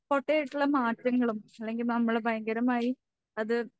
പൊട്ടയായിട്ടുള്ള മാറ്റങ്ങളും അല്ലെങ്കിൽ നമ്മള് ഭയങ്കരമായി അത്